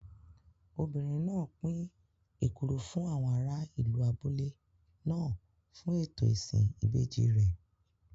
Obìnrin náà pín èkuru fún àwọn ará ìlú abúlé náà fún ètò ìsìn ìbejì rẹ̀.